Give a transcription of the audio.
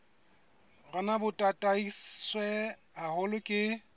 rona bo tataiswe haholo ke